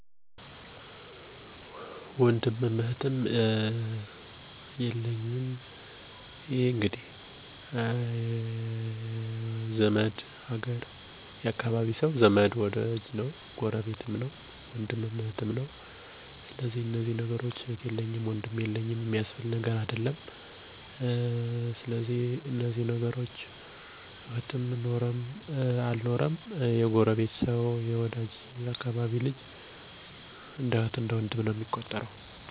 ወንድም እና እህት የለኝም ነገር ግን በእናቴ እና በአባቴ ወገን 3 የአክስት ልጆች እና 11 የአጎት ልጆች አሉኝ። አብዛኞቹ ህፃናት ናቸው። አንዳንዴ ሲደብረኝ እነሱ ጋር ስጫወት እውላለሁ።